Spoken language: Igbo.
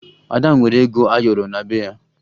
Ada nwere ego ayọrọ na be ya